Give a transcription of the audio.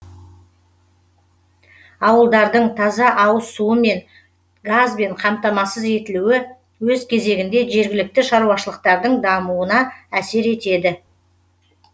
ауылдардың таза ауыз суымен газбен қамтамасыз етілуі өз кезегінде жергілікті шаруашылықтардың дамуына әсер етеді